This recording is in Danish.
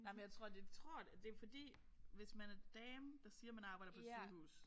Nej jeg tror det tror det er fordi hvis man er dame der siger man arbejder på et sygehus